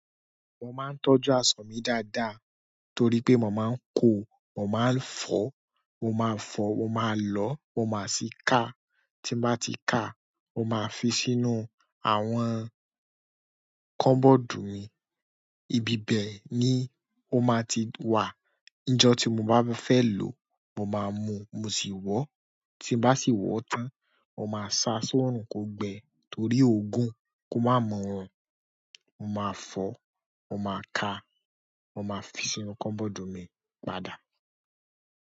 Mo máa ń tọ́jú aṣọ mi dáadáa torí pé mo máa ń kò, mo máa ń fọ, mo máa fọ, mo máa lọ, mo máa sì ká. Tí n bá ti ká, mo máa fi sínú àwọn kọ́bọ̀dù mi. Ibi bẹ ni ó máa ti wà. Njọ tí mo bá fẹ́ lò ó, mo máa mú, mo sì wọ́. Tí n bá sì wọ̀ tán, mo máa sa sóòrùn kò gbẹ torí òògùn, kó má mu wọn. Mo máa fọ̀, mo máa ká, mo máa fi sínú kọ́bọ̀dù mi padà.